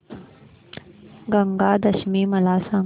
गंगा दशमी मला सांग